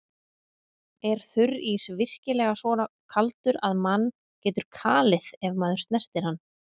Er þurrís virkilega svo kaldur að mann getur kalið ef maður snertir hann?